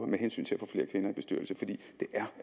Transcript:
med hensyn til at